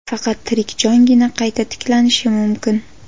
Faqat tirik jongina qayta tiklanishi mumkin.